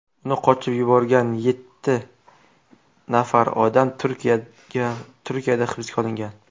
Uni qochib yuborgan yetti nafar odam Turkiyada hibsga olingan .